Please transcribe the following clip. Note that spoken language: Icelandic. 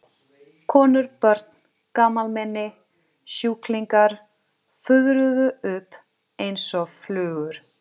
Konur, börn, gamalmenni, sjúklingar fuðruðu upp einsog flugur.